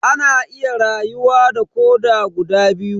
Ana iya rayuwa da koda guda daya.